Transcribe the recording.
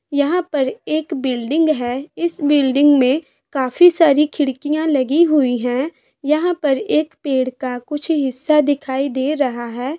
यहाँ पर एक बिल्डिंग है इस बिल्डिंग में काफी सारी खिड़कियां लगी हुई हैं यहाँ पर एक पेड़ का कुछ हिस्सा दिखाई दे रहा है।